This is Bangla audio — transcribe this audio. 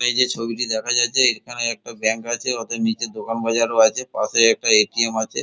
এই যে ছবিটি দেখা যাচ্ছে এখানে একটা ব্যাঙ্ক আছে ওদের নিচে দোকান বাজার আছে পাশে একটা এ.টি.এম. আছে।